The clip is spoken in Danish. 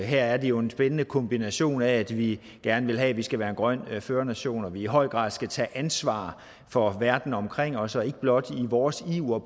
her er det jo en spændende kombination af at vi gerne vil have at vi skal være en grøn førernation og at vi i høj grad skal tage ansvar for verden omkring os så vi ikke blot i vores iver